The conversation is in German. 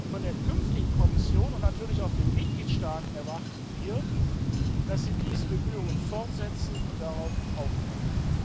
Von der künftigen Kommission und natürlich auch den Mitgliedstaaten erwarten wir, dass sie diese Bemühungen fortsetzen und darauf aufbauen.